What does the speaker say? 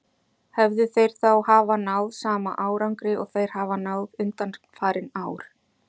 Hefðu þeir þá hafa náð sama árangri og þeir hafa náð undanfarin ár?